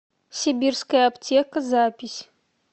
сибирская аптека запись